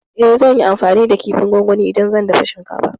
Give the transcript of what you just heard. E, zan yi amfani da kifin gongoni idan zan dafa shinkafa.